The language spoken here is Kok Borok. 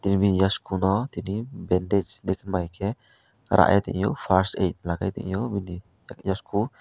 tini bini yasko no tini bendeds dikmai ke ara a tongyo first add ma ke tangyo bini yashko.